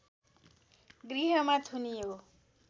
गृहमा थुनियो